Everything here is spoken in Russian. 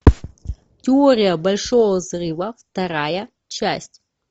теория большого взрыва вторая часть